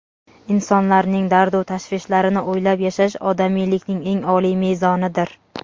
Insonlarning dardu-tashvishlarini o‘ylab yashash - odamiylikning eng oliy mezonidir.